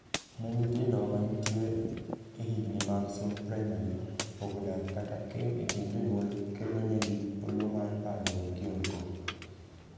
Ne nyithindo mantie e higni mag somb praimari, pogo dak kata keny e kind jonyuol kelonegi olo mar paro kod kiondko.